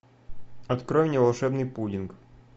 открой мне волшебный пудинг